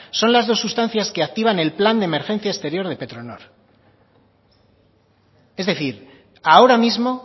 son las dos sustancias que activan el plan de emergencia exterior de petronor es decir ahora mismo